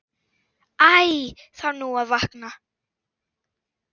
Æ þarf nú að vakna.